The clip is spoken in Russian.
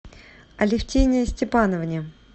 алефтине степановне